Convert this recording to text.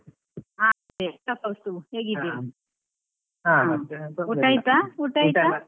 ಹಾ ನಮಸ್ತೆ ಕೌಸ್ತಬ್ . ಆಯ್ತಾ ಊಟ ಆಯ್ತಾ?